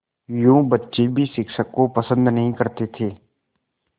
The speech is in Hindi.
यूँ बच्चे भी शिक्षक को पसंद नहीं करते थे